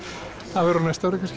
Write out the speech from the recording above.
það verður á næsta ári kannski